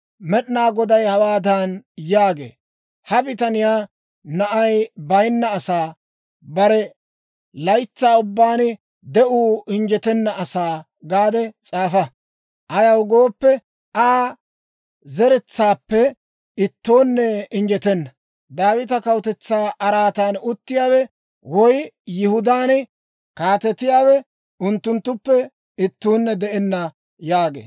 Med'inaa Goday hawaadan yaagee; «Ha bitaniyaa, ‹Na'ay bayinna asaa, bare laytsaa ubbaan de'uu injjetenna asaa› gaade s'aafa. Ayaw gooppe, Aa zeretsaappe ittoonne injjetenna; Daawita kawutetsaa araatan uttiyaawe woy Yihudaan kaatetiyaawe unttunttuppe ittuunne de'enna» yaagee.